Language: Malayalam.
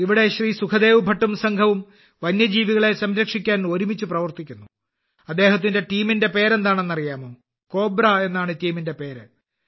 സുഖ്ദേവ് ഭട്ടും സംഘവും വന്യജീവികളെ സംരക്ഷിക്കാൻ ഒരുമിച്ച് പ്രവർത്തിക്കുന്നു അദ്ദേഹത്തിന്റെ ടീമിന്റെ പേര് എന്താണെന്ന് അറിയാമോ കോബ്ര എന്നാണ് ടീമിന്റെ പേര്